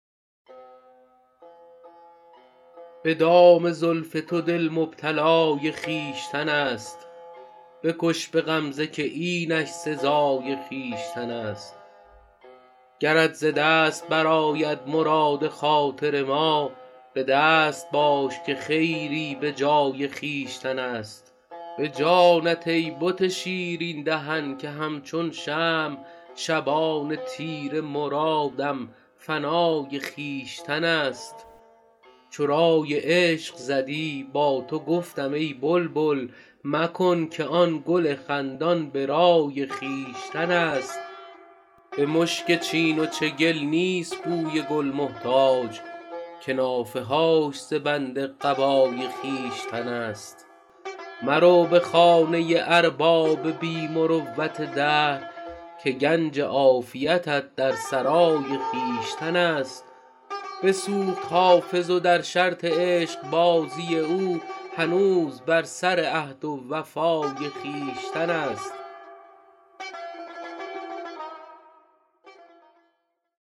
به دام زلف تو دل مبتلای خویشتن است بکش به غمزه که اینش سزای خویشتن است گرت ز دست برآید مراد خاطر ما به دست باش که خیری به جای خویشتن است به جانت ای بت شیرین دهن که همچون شمع شبان تیره مرادم فنای خویشتن است چو رای عشق زدی با تو گفتم ای بلبل مکن که آن گل خندان به رای خویشتن است به مشک چین و چگل نیست بوی گل محتاج که نافه هاش ز بند قبای خویشتن است مرو به خانه ارباب بی مروت دهر که گنج عافیتت در سرای خویشتن است بسوخت حافظ و در شرط عشقبازی او هنوز بر سر عهد و وفای خویشتن است